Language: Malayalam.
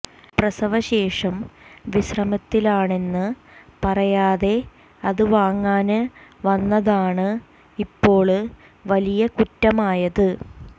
പ്രസവശേഷം വിശ്രമത്തിലാണെന്ന് പറയാതെ അത് വാങ്ങാന് വന്നതാണ് ഇപ്പോള് വലിയ കുറ്റമായത്